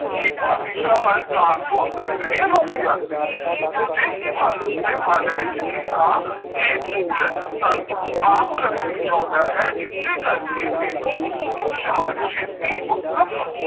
ਕਿਹ ਉਹ ਦਿਸ਼ਾ ਵੀ